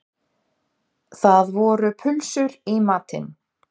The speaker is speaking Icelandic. Það voru pulsur í matinn